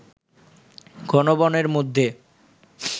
ঘন বনের মধ্যে